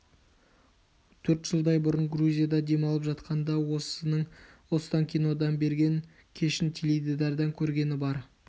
төрт жылдай бұрын грузияда дем алып жатқанда осының останкинодан берген кешін теледидардан көргені бар